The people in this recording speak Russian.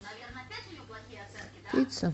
пицца